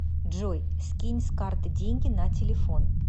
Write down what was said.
джой скинь с карты деньги на телефон